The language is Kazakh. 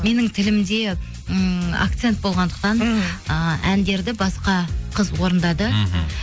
менің тілімде ммм акцент болғандықтан мхм ы әндерді басқа қыз орындады мхм